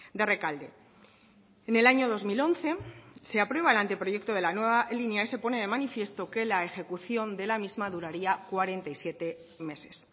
de rekalde en el año dos mil once se aprueba el anteproyecto de la nueva línea y se pone de manifiesto que la ejecución de la misma duraría cuarenta y siete meses